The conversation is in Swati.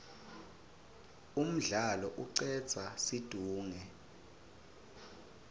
umdlalo icedza situnge